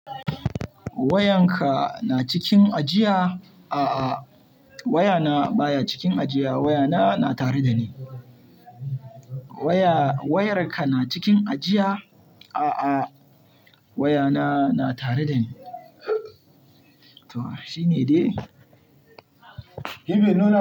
Wayanka na cikin ajiya? A'a wayana baya cikin ajiya wayana na tare da ni. Waya-wayarka na cikin ajiya? A'a wayana na tare da ni. To shi ne dai.